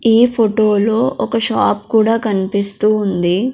ఈ ఫోటో లో ఒక షాప్ కూడా కనిపిస్తూ ఉంది.